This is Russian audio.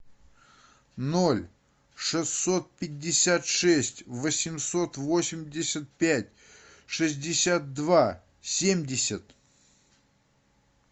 ноль шестьсот пятьдесят шесть восемьсот восемьдесят пять шестьдесят два семьдесят